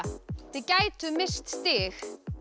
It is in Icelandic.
þið gætuð misst stig